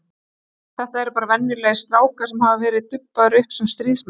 Þetta eru bara venjulegir strákar sem hafa verið dubbaðir upp sem stríðsmenn.